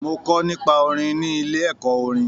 Mọ kọ nipa orin ni ilé ẹkọ orin